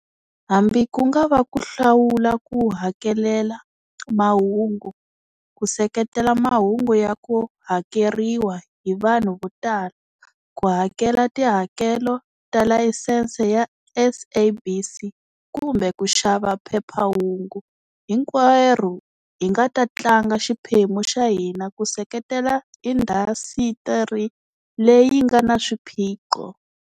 Hambi ku nga va ku hlawula ku hakelela mahungu, ku seketela mahungu ya ku hakeleriwa hi vanhu vo tala, ku hakela tihakelo ta layisense ya SABC kumbe ku xava phephahungu, hinkwerhu hi nga ta tlanga xiphemu xa hina ku seketela indhasitiri leyi nga na swiphiqo.